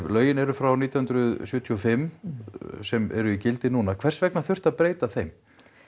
lögin eru frá nítján hundruð sjötíu og fimm sem eru í gildi núna hvers vegna þurfti að breyta þeim